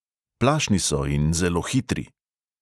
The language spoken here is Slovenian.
Plašni so in zelo hitri.